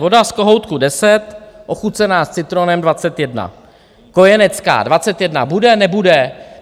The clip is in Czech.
Voda z kohoutku 10, ochucená s citronem 21. Kojenecká - 21 bude, nebude?